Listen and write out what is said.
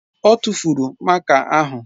Ọ tụ́furu máká ahụ.